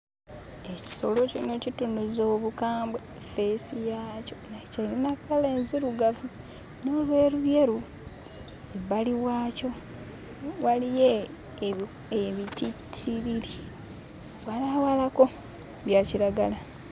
Ekisolo kino kitunuza obukambwe feesi yakyo naye kiyina kkala enzirugavu n'ebyeruyeru. Ebbali waakyo waliyo ebitittiriri walaawalako; bya kiragala